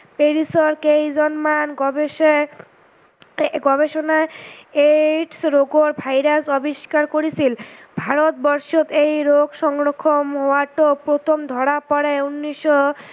তেইশৰ কেইজন মান গৱেষৰ গৱেষনাই AIDS লগোৱা ভাইৰাচ আৱিষ্কাৰ কৰিছিল। ভাৰত ৱৰ্ষত এই ৰোগ সংৰক্ষন ward টো প্ৰথম ধৰা পৰে ঊনৈষশ